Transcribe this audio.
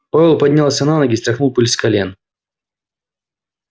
пауэлл поднялся на ноги стряхнул пыль с колен